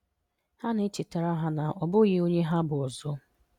Ha na-echetara ha na ọ bụghị onye ha bụ ọzọ.